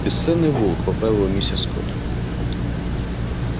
бесценный волк поправила его миссис скотт